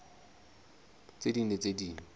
tse ding le tse ding